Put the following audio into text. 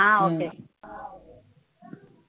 ஆஹ் okay